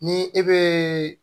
Ni e bɛ